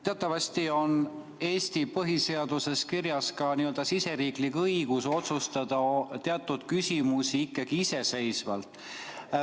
Teatavasti on Eesti põhiseaduses kirjas ka riigi õigus otsustada teatud küsimusi ikkagi iseseisvalt.